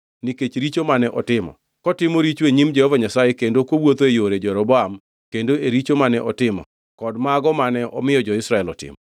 nikech richo mane otimo, kotimo richo e nyim Jehova Nyasaye kendo kowuotho e yore Jeroboam kendo e richo mane otimo, kod mago mane omiyo jo-Israel otimo.